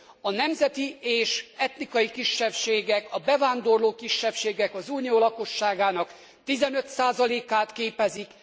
A nemzeti és etnikai kisebbségek, a bevándorló kisebbségek az Unió lakosságának 15 százalékát képezik.